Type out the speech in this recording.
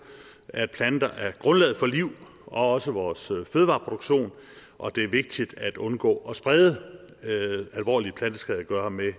at planter er grundlaget for liv og også vores fødevareproduktion og det er vigtigt at undgå at sprede alvorlige planteskadegørere med